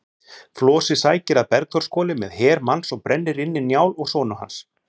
Flosi sækir að Bergþórshvoli með her manns og brennir inni Njál og sonu hans.